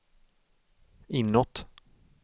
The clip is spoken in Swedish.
inåt